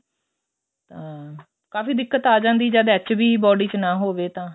ਅਹ ਕਾਫ਼ੀ ਦਿੱਕਤ ਆ ਜਾਂਦੀ ਜਦ HB body ਵਿੱਚ ਨਾ ਹੋਵੇ ਤਾਂ